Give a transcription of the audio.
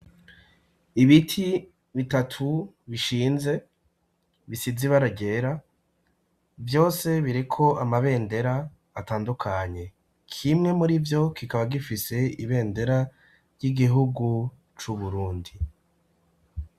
Ibiti bitatu bishinze bisizibara gyera vyose bireko amabendera atandukanye kimwe muri vyo kikaba gifise ibendera ry'igihugu c'uburundi.